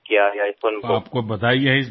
તમને અભિનંદન આ વાત માટે